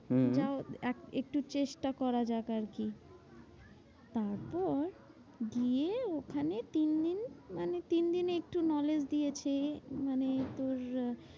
হম এক একটু চেষ্টা করা যাক আরকি। তারপর গিয়ে ওখানে তিন দিন মানে তিন দিন একটু knowledge দিয়েছে। মানে তোর আহ